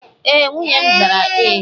e, nwunye m zara Ee.